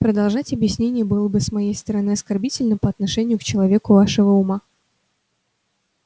продолжать объяснение было бы с моей стороны оскорбительно по отношению к человеку вашего ума